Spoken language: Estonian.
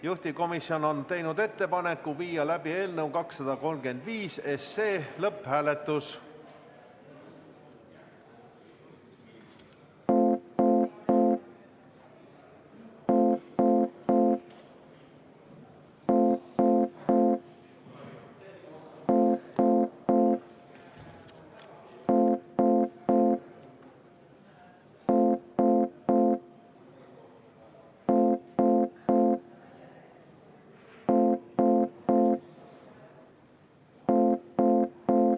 Juhtivkomisjon on teinud ettepaneku viia läbi eelnõu 235 lõpphääletus.